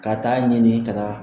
Ka taa ɲɛninni ka taa